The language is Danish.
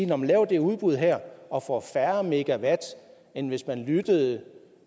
når man laver det udbud her og får færre megawatt end hvis man lyttede